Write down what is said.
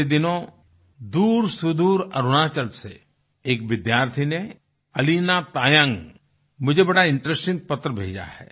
पिछले दिनों दूरसुदूर अरुणाचल से एक विद्यार्थी ने अलीना तायंग मुझे बड़ा इंटरेस्टिंग पत्र भेजा है